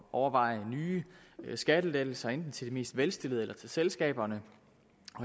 overveje nye skattelettelser enten til de mest velstillede eller til selskaberne